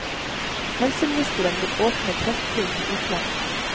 Helseministeren vil åpne kreftbro til utlandet.